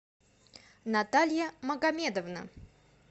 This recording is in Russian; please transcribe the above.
наталья магамедовна